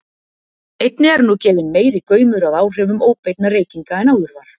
einnig er nú gefinn meiri gaumur að áhrifum óbeinna reykinga en áður var